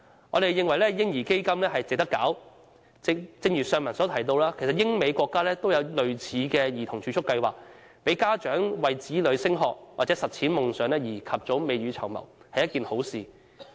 我們認為"嬰兒基金"值得推行，正如先前提到，英、美等國家也設有類似的兒童儲蓄計劃，讓家長為子女升學和實踐夢想及早未雨綢繆，這是一件好事。